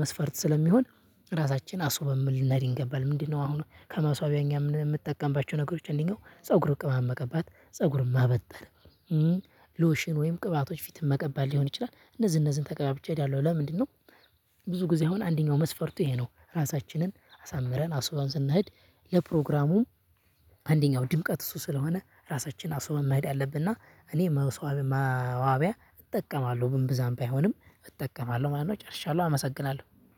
መስፈርት ስለሚሆን ራሳችን አስውበን ልንሔድ ይገባል። አሁን ከመስዋቢያ እኛ የምንጠቀምባቸው ነገሮች እንዲህ ፀጉር ቅባት መቀባት ፀጉርም ማበጠረ። ሎሽን ወይም ቅባቶች ፊትም መቀባት ሊሆን ይችላል እነዚህ እነዚህን ተቀባብቸ እሔዳለሁ ለምንድን ነው? ብዙ ጊዜ አሁን አንደኛው መስፈርቱ ይሄ ነው ራሳችንን አሳምረን አስውበን ስንሔድ ለፕሮግራሙ። አንደኛው ድምቀት እሱ ስለሆነ ራሳችን አስውበን መሔድ አለብን። እና እኔ መዋቢያ እጠቀማለሁ እምብዛም ባይሆንም እጠቀማለሁ ማለት ነው ጨርሻለሁ አመሰግናለሁ